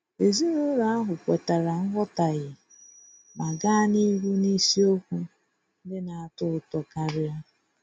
Ezinụlọ ahụ kwetara nghọtahie ma gaa n'ihu n'isiokwu ndị na-atọ ụtọ karia.